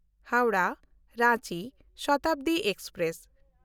Howrah Ranchi Shatabdi express